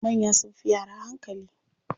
Manya sunfi yara hankali.